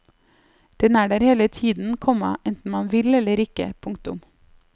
Den er der hele tiden, komma enten man vil eller ikke. punktum